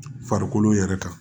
Farikolo yɛrɛ kan